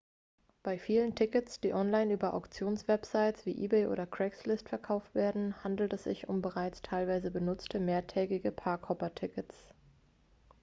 bei vielen tickets die online über auktionswebsites wie ebay oder craigslist verkauft werden handelt es sich um bereits teilweise benutzte mehrtägige park-hopper-tickets